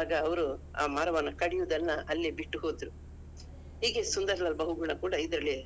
ಆಗ ಅವರು ಆ ಮರವನ್ನು ಕಡಿಯುದನ್ನ ಅಲ್ಲೇ ಬಿಟ್ಟುಹೋದರು. ಹೀಗೆ ಸುಂದರಲಾಲ್ ಬಹುಗುಣ ಕೂಡ ಇದ್ರಲ್ಲಿ